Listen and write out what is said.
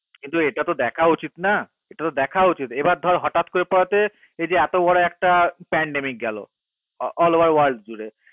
কিন্ত এটা তো দেখা উচিত না কিন্ত এটা তো দেখা উচিত না এবার তোর হঠাৎ করে করতে এই এত বড়ো একটা করে all over the world জুড়ে